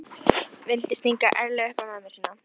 Vildi stinga ærlega upp í mömmu sína.